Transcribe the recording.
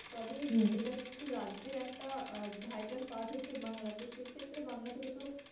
তবে এটা যেহেতু রাজ্যর একটা vital part হচ্ছে বাংলা তো সেইক্ষেত্রে বাংলা থেকে তো,